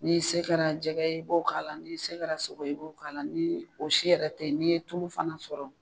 N'i se kɛra jɛgɛ ye i b'o k'a la n'i se kɛra sogo ye i b'o k'a la ni o si yɛrɛ tɛ ye n'i ye tulu fana sɔrɔ.